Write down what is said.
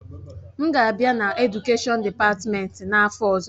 M ga-abịa na Edukèshọn dịpatmenti n'afọ ọzọ.